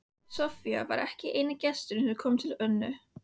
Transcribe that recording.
Soffía var ekki eini gesturinn sem kom til Önnu.